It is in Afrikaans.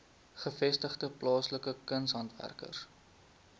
gevestigde plaaslike kunshandwerkers